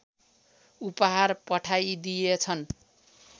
उपहार पठाइदिएछन्